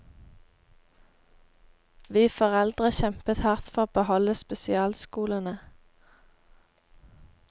Vi foreldre kjempet hardt for å beholde spesialskolene.